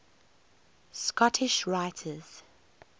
scottish writers